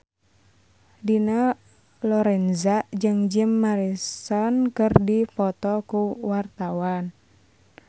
Dina Lorenza jeung Jim Morrison keur dipoto ku wartawan